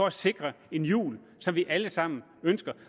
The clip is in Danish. at sikre en jul som vi alle sammen ønsker